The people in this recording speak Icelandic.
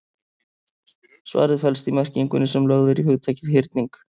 Svarið felst í merkingunni sem lögð er í hugtakið hyrning.